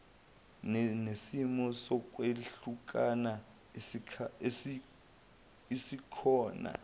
nesimo sokwehlukana esikhona